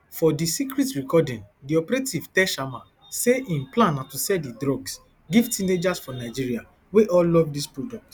for di secret recording di operative tell sharma say im plan na to sell di drugs give teenagers for nigeria wey all love dis product